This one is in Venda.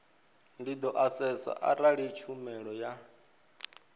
do asesa arali tshumelo ya